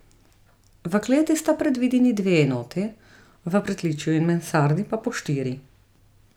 V kleti sta predvideni dve enoti, v pritličju in mansardi pa po štiri.